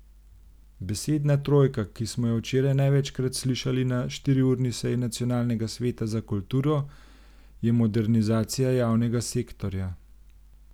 Besedna trojka, ki smo jo včeraj največkrat slišali na štiriurni seji nacionalnega sveta za kulturo, je modernizacija javnega sektorja.